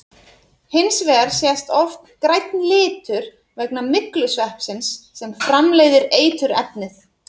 Hins vegar sést oft grænn litur vegna myglusveppsins sem framleiðir eiturefnið.